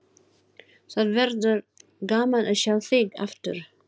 Það verður gaman að sjá þig aftur.